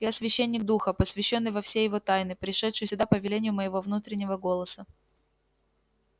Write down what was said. я священник духа посвящённый во все его тайны пришедший сюда по велению моего внутреннего голоса